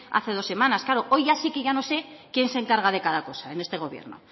hace dos semanas claro hoy ya sí que ya no sé quién se encarga de cada cosa en este gobierno